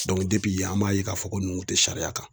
an b'a ye k'a fɔ ko nun te sariya kan.